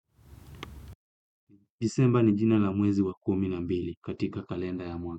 Disemba ni jina la mwezi wa kumi na mbili katika kalenda ya mwana.